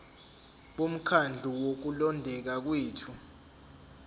bomkhandlu wokulondeka kwethu